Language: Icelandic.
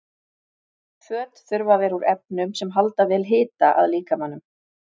Föt þurfa að vera úr efnum sem halda vel hita að líkamanum.